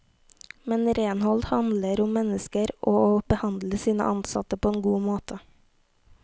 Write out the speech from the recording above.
Men renhold handler om mennesker, og å behandle sine ansatte på en god måte.